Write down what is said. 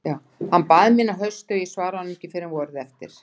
Hann bað mín að hausti og ég svaraði honum ekki fyrr en vorið eftir.